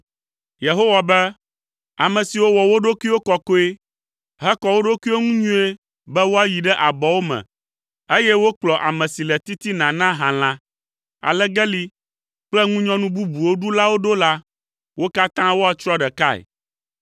Yehowa be, “Ame siwo wɔ wo ɖokuiwo kɔkɔe hekɔ wo ɖokuiwo ŋu nyuie be woayi ɖe abɔwo me, eye wokplɔ ame si le titina na halã, alegeli kple ŋunyɔnu bubuwo ɖulawo ɖo la, wo katã woatsrɔ̃ ɖekae.